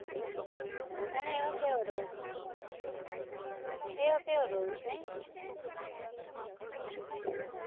અને એવો કેવો rule, એવો કેવો rule નઈ?